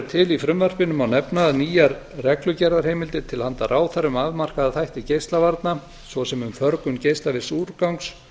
til í frumvarpinu má nefna að nýjar reglugerðarheimildir til handa ráðherrum um afmarkaða þætti geislavarna svo sem um förgun geislavirks úrgangs